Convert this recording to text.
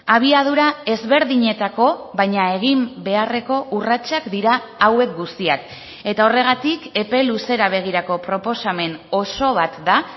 abiadura ezberdinetako baina egin beharreko urratsak dira hauek guztiak eta horregatik epe luzera begirako proposamen oso bat da